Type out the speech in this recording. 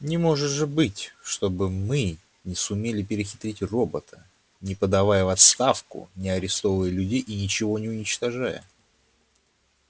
не может же быть чтобы мы не сумели перехитрить робота не подавая в отставку не арестовывая людей и ничего не уничтожая